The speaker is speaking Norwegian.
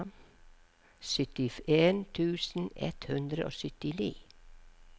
syttien tusen ett hundre og syttini